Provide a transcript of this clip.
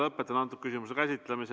Lõpetan selle küsimuse käsitlemise.